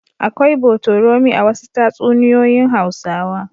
Akwai botorami a wasu tatsunoyoyin Hausawa.